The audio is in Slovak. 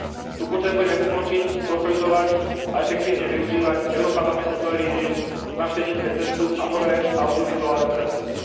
Tu potrebujeme ukončiť, konsolidovať a efektívne využívať europarlamentnú televíziu, návštevnícke centrum a nové audiovizuálne centrum.